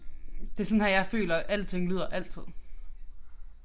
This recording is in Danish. Det sådan her jeg føler alting lyder altid